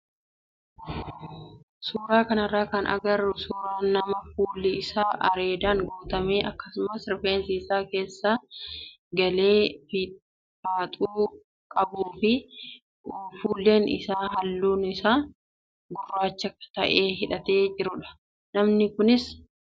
Suuraa kanarraa kan agarru suuraa nama fuulli isaa areedaan guutamee akkasumas rifeensi isaa keessa galee faaxuu qabuu fi fuullee ijaa halluun isaa gurraacha ta'e hidhatee jirudha. Namni kunis uffata halluun isaa cuuqliisaa uffateera.